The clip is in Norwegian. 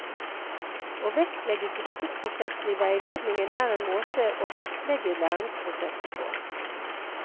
Å vektlegge gruppeprosessen i veiledningen er en måte å vektlegge læringsprosessen på.